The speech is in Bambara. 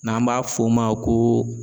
N'an b'a fɔ o ma ko.